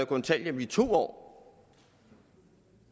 kontanthjælp i to år